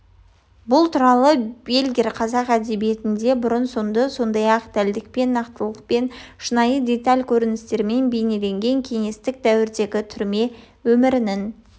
бұл туралы бельгер қазақ әдебиетінде бұрын-соңды сондай дәлдікпен нақтылықпен шынайы деталь-көріністермен бейнелеген кеңестік дәуірдегі түрме өмірінің